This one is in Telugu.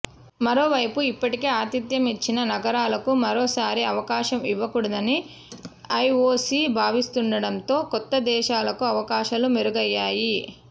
మరోవైపు ఇప్పటికే ఆతిథ్యమిచ్చిన నగరాలకు మరోసారి అవకాశం ఇవ్వకూడదని ఐఓసీ భావిస్తుండటంతో కొత్త దేశాలకు అవకాశాలు మెరుగయ్యాయి